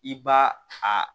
I b'a a